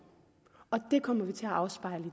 det kommer vi til at afspejle